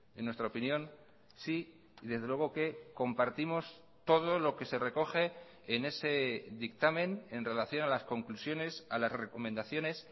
en nuestra opinión sí y desde luego que compartimos todo lo que se recoge en ese dictamen en relación a las conclusiones a las recomendaciones